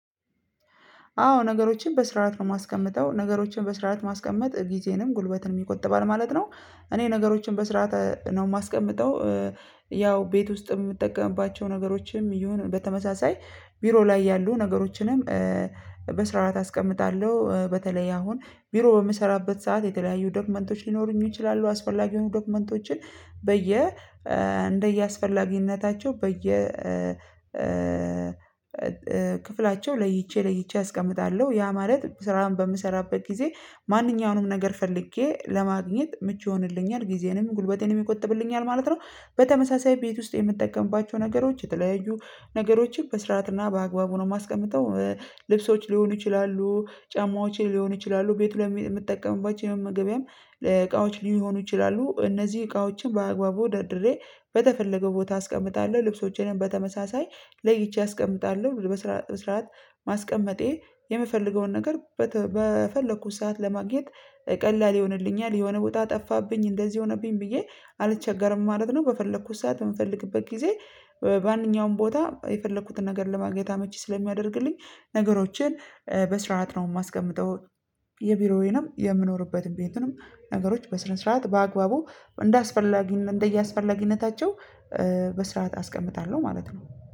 አዎ ነገሮችን በስራው ማስቀመጥ ነው ነገሮችን በስራው ማስቀመጥ ጊዜንም ጉልበትን ይቆጥባል ማለት ነው እኔ ነገሮችን በስርዓት ነው የማስቀምጠው ያው ቤት ውስጥም የምጠቀምባቸው ነገሮችም ይሁን በተመሳሳይ ቢሮ ላይ ያሉ ነገሮችንም በስራት አስቀምጣለሁ በተለይ አሁን ቢሮ በምሰራበት ሰዓት የተለያዩ ዶክመንቶች ሊኖሩኝ ይችላሉ አስፈላጊ የሆኑ ዶክመንቶችን በየ እንደየአስፈላጊነታቸው በየ ክፍላቸው ለይቼ ለይቼ አስቀምጣለሁ ያ ማለት ስራ በምሰራበት ጊዜ ማንኛውንም ነገር ፈልጌ ለማግኘት ምቹ ይሆንልኛል ጊዜንም ጉልበቴንም ይቆጥብልኛል ማለት ነው በተመሳሳይ ቤት ውስጥ የምጠቀምባቸው ነገሮች የተለያዩ ነገሮችን በስርዓትና በአግባቡ ነው የማስቀምጠው። ልብሶች ሊሆኑ ይችላሉ ጫማዎቼ ሊሆኑ ይችላሉ ቤት ላይ የምትጠቀሙባቸው የመመገቢያም እቃዎች ሊሆኑ ይችላሉ እነዚህ እቃዎችን በአግባቡ ደርድሬ በተፈለገው ቦታ አስቀምጣለሁ ልብሶቼንም በተመሳሳይ ለይቼ አስቀምጣለሁ በስራ በስራት ማስቀመጤ የምፈልገውን ነገር በፈለኩት ሰዓት ለማግኘት ቀላል ይሆንልኛል የሆነ ወጣ ጠፋብኝ እንደዚህ ሆነብኝ ብዬ አልቸገርም ማለት ነው በፈለኩት ሰዓት የምፈልግበት ጊዜ በአንኛውም ቦታ የፈለኩትን ነገር ለማግኘት አመቺ ስለሚያደርግልኝ ነገሮቼን በስርዓት ነው የማስቀምጠው የቢሮዬንም የምኖርበት ቤቱንም ነገሮች በስነ ስርዓት በአግባቡ እንደአስፈላጊ እንደየአስፈላጊነታቸው በስርዓት አስቀምጣለሁ ማለት ነው።